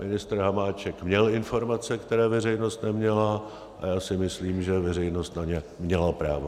Ministr Hamáček měl informace, které veřejnost neměla, a já si myslím, že veřejnost na ně měla právo.